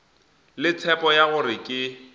le tshepo ya gore ke